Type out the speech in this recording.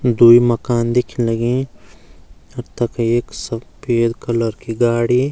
द्वि मकान दिख्यं लगीं अर तख एक सफ़ेद कलर की गाडी।